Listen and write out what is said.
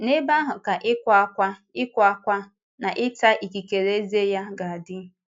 N’ebe ahụ ka ịkwa ákwá ịkwa ákwá na ịta ikikere ezé ya ga-adị.”